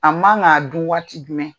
A ma k'a dun waati jumɛn?